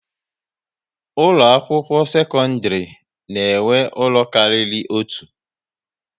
Ụlọ akwụkwọ sekondiri na enwe ụlọ kárírí otu